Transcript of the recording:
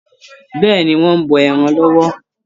Bẹ́ẹ̀ni, wọ́n ń bọ ẹran lọ́wọ́.